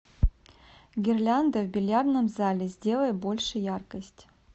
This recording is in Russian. гирлянда в бильярдном зале сделай больше яркость